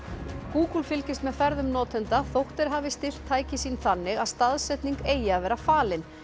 Google fylgist með ferðum notenda þótt þeir hafi stillt tæki sín þannig að staðsetning eigi að vera falin